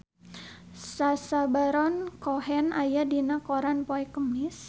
Sacha Baron Cohen aya dina koran poe Kemis